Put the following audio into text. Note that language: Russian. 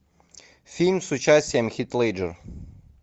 фильм с участием хит леджер